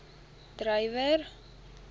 dreyer